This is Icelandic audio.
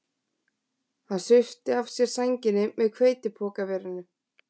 Hann svipti af sér sænginni með hveitipokaverinu